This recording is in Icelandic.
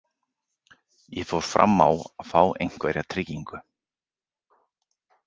Ég fór fram á að fá einhverja tryggingu.